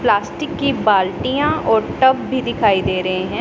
Plastic की बाल्टियां और टब भी दिखाई दे रहे हैं।